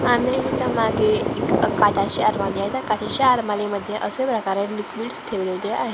आणि ह्याच्या मागे एक आहे त्या अलमारीमध्ये असे प्रकारे लिक्विडड्स ठेवलेले आहेत.